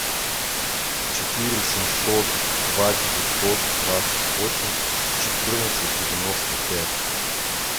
четыре семьсот два девятьсот двадцать восемь четырнадцать девяносто пять